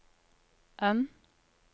N